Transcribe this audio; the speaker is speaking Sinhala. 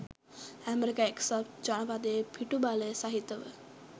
අමෙරිකා එක්සත් ජනපදයේ පිටුබලය සහිතව